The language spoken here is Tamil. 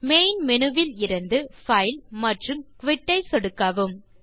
மெயின் மேனு இலிருந்து பைல் மற்றும் குயிட் ஐ சொடுக்கவும்